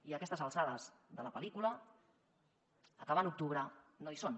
i a aquestes alçades de la pel·lícula acabant octubre no hi són